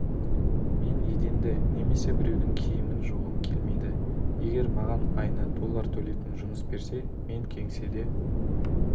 мен еденді немесе біреудің киімін жуғым келмейді егер маған айына доллар төлейтін жұмыс берсе мен кеңседе